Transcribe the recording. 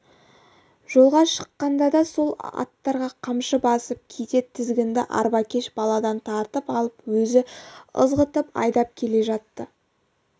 жолға шыққанда да сол аттарға қамшы басып кейде тізгінді арбакеш баладан тартып алып өзі ызғытып айдап келе жатты